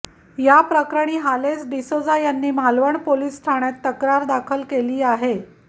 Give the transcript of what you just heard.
या प्रकरणी हालेस डीसोजा यांनी मालवण पोलीस ठाण्यात तक्रार दाखल केली आहे